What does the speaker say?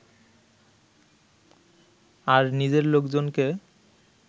আর নিজের লোকজনকে